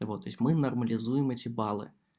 вот то есть мы нормализуем эти баллы